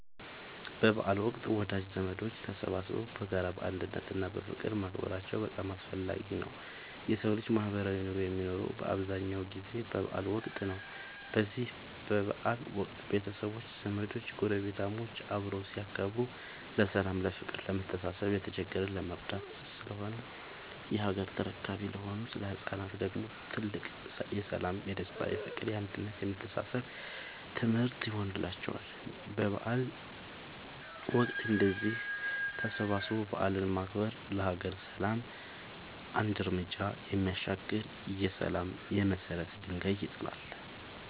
በበዓል ወቅት ወዳጅ ዘመዶች ተሰባስበው በጋራ፣ በአንድነት እና በፍቅር ማክበራቸው በጣም አስፈላጊ ነው የሠው ልጅ ማህበራዊ ኑሮ የሚኖረው በአብዛኛው ጊዜ በበዓል ወቅት ነው። በዚህ በበዓል ወቅት ቤተሰቦች፣ ዘመዶች ጐረቤታሞች አብረው ሲያከብሩ ለሠላም፤ ለፍቅር፣ ለመተሳሰብ፣ የተቸገረን ለመርዳት ስለሆነ የሀገር ተረካቢ ለሆኑት ለህፃናት ደግሞ ትልቅ የሠላም፣ የደስታ፣ የፍቅር፣ የአንድነት የመተሳሰብ ትምህርት ይሆንላቸዋል። በበዓል ወቅት እንደዚህ ተሰባስቦ በዓልን ማክበር ለሀገር ሰላም አንድ ርምጃ የሚያሻግር የሠላም የመሰረት ድንጋይ ይጥላል።